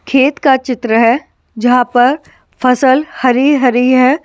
खेत का चित्र है जहां पर फसल हरी-हरी है ।